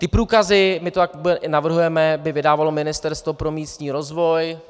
Ty průkazy, my to tak i navrhujeme, by vydávalo Ministerstvo pro místní rozvoj.